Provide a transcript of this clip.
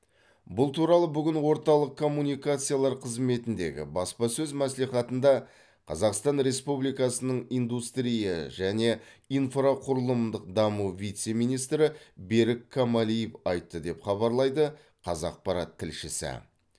бұл туралы бүгін орталық коммуникациялар қызметіндегі баспасөз мәслихатында қазақстан республикасы индустрия және инфрақұрылымдық даму вице министрі берік камалиев айтты деп хабарлайды қазақпарат тілшісі